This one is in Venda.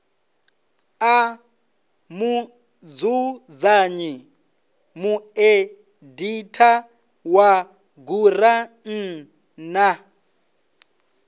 a mudzudzanyi mueditha wa gurannḓa